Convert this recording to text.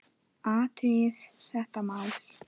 Athugið þetta mál, góðir menn!